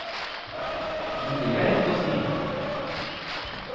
Men det er lett å si.